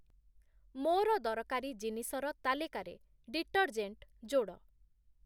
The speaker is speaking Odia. ମୋର ଦରକାରୀ ଜିନିଷର ତାଲିକାରେ ଡିଟର୍ଜେଣ୍ଟ ଯୋଡ଼।